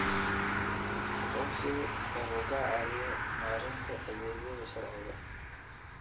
Aqoonsigu wuxuu ka caawiyaa maaraynta adeegyada sharciga.